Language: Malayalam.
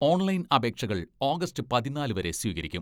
ഓൺലൈൻ അപേക്ഷകൾ ഓഗസ്റ്റ് പതിനാല് വരെ സ്വീകരിക്കും.